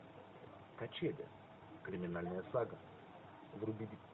качели криминальная сага вруби